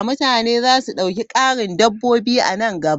Mutane za su ɗauki ƙarin dabbobi a nan gaba.